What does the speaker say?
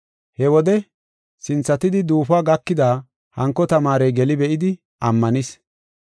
He wode, sinthatidi duufuwa gakida hanko tamaarey geli be7idi ammanis.